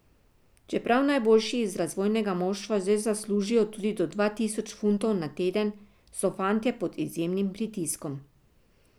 Čeprav najboljši iz razvojnega moštva že zaslužijo tudi do dva tisoč funtov na teden, so fantje pod izjemnim pritiskom.